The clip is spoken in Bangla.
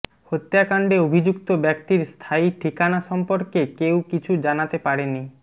হত্যাকাণ্ডে অভিযুক্ত ব্যক্তির স্থায়ী ঠিকানা সম্পর্কে কেউ কিছু জানাতে পারেনি